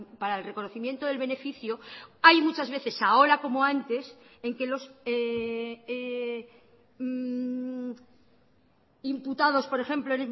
para el reconocimiento del beneficio hay muchas veces ahora como antes en que los imputados por ejemplo